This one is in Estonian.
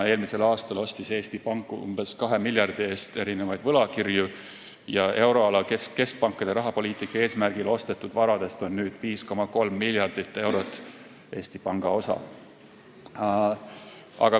Eelmisel aastal ostis Eesti Pank umbes 2 miljardi eest võlakirju ja euroala keskpankade rahapoliitika eesmärgil ostetud varadest on nüüd 5,3 miljardit eurot Eesti Panga osa.